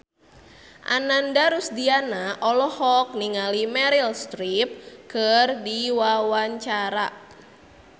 Ananda Rusdiana olohok ningali Meryl Streep keur diwawancara